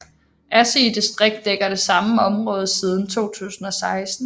Asige distrikt dækker det samme område siden 2016